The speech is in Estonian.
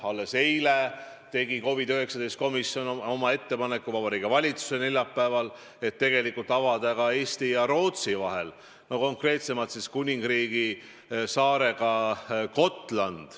Alles eile tegi COVID-19 komisjon ettepaneku Vabariigi Valitsusele, et 1. juulist võiks avada laevaühenduse ka Eesti ja Rootsi vahel, konkreetsemalt siis Gotlandi saarega.